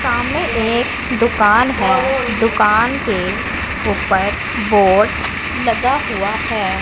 सामने एक दुकान है दुकान के ऊपर बोर्ड लगा हुआ है।